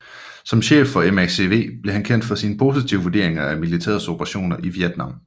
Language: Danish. Som chef for MACV blev han kendt for sine positive vurderinger af militærets operationer i Vietnam